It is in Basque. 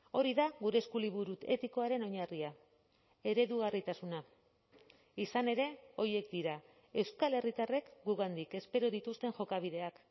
hori da gure eskuliburu etikoaren oinarria eredugarritasuna izan ere horiek dira euskal herritarrek gugandik espero dituzten jokabideak